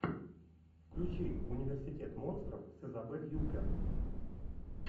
включи университет монстров с изабель юппер